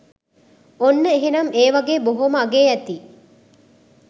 ඔන්න එහෙනම් ඒ වගේ බොහෝම අගේ ඇති